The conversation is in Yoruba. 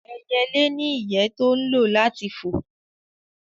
Ẹyẹlé ní ìyẹ́ tó ń lò láti fò